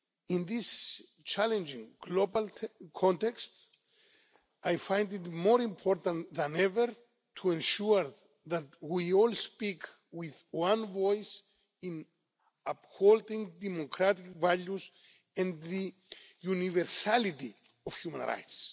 In this challenging global context, I find it more important than ever to ensure that we all speak with one voice in upholding democratic values and the universality of human rights.